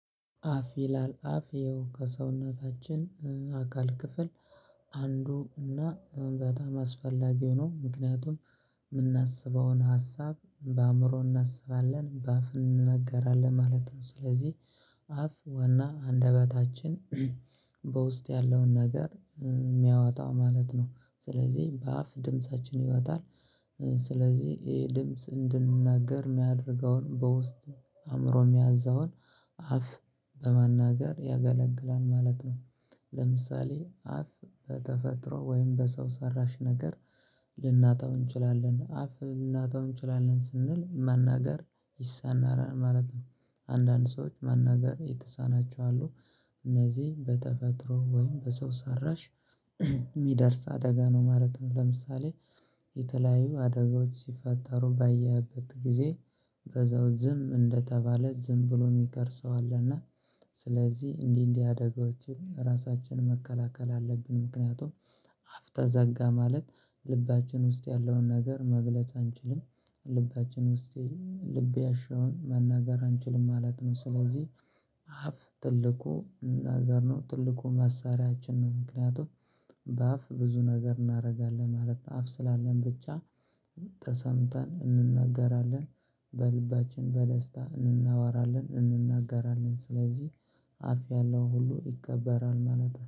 አፍ ይላል አፍ ይኸው ከሰውነታችን አካል ክፍል አንዱ እና በጣም አስፈላጊ ሆኖ ምክንያቱም የምናስበውን ሀሳብ በአእምሮ እናስባለን በአፍ እንነገራለን ማለት ነው። ስለዚህ አፍ ወና አንደበታችን በውስጥ ያለውን ነገር የሚያወጣው ማለት ነው። ስለዚህ በአፍ ድምፃችን ይወጣል። ስለዚህ ይሄ ድምጽ እንድንናገር የሚያደርገውን በውስጥ አእምሮ የሚያዛውን አፍ በመናገር ያገለግላል ማለት ነው። ለምሳሌ አፍ በተፈጥሮ ወይም በሰው ሰራሽ ነገር ልናጣው እንችላለን አፍ ልናጣው እንችላለን ስንል ማናገር ይሳናል ማለት ነው። አንዳንድ ሰዎች መናገር የተሳናቸው አሉ። እነዚህም በተፈጥሮ ወይም በሰው ሰራሽ የሚደርስ አደጋ ነው ማለትም ለምሳሌ የተለያዩ አደጋዎች ሲፈጠሩ ባየህበት ጊዜ። በዛው ዝም እንደተባለ ዝም ብሎ የሚቀር ሰው አለና። ስለዚህ እንዲህ እንዲህ አደጋዎችን ራሳችንን መከላከል አለብን። ምክንያቱም አፍ ተዘጋ ማለት ልባችን ውስጥ ያለውን ነገር መግለጽ አንችልም። ልባችን ውስጤ ልብ ያሻውን መናገር አንችልም ማለት ነው። ስለዚህ አፍ ትልቁ እናገር ነው ትልቁ መሳሪያችን ነው። ምክንያቱም በአፍ ብዙ ነገር እናደርጋለን ማለት አፍ ስላለን ብቻ ተሰምተን እንነጋገራለን። በልባችን በደስታ እንናወራለን እንነጋገራለን ስለዚህ አፍ ያለው ሁሉ ይቀበራል ማለት ነው